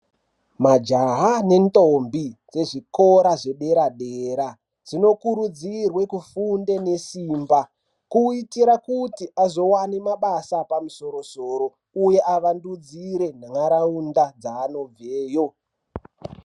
Majaha nendombi dzezvikora zvedera-dera dzinokurudzirwe kufunde nesimba. Kuitire kuti azovane mabasa epamusoro-soro, uye avandudzire nharaunda dzaanobveyo.